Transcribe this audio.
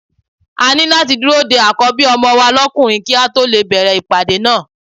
A ní láti dúró de Àkọ́bí ọmọ wa lókùnrin kí a tó lè bẹ̀rẹ̀ ìpàdé náà.